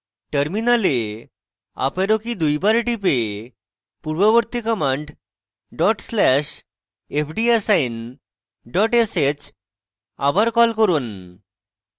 terminal up arrow key দুইবার টিপে পূর্ববর্তী command dot slash fdassign dot sh আবার key করুন